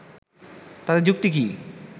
তাদের যুক্তি কি